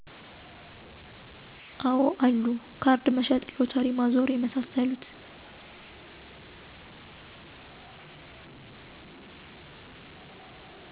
አወ አሉ ካርድ መሸጥ ሎተሪ ማዞር የመሳሰሉት